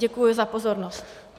Děkuji za pozornost.